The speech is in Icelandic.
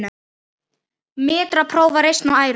Mætra bófa reisn á ærum.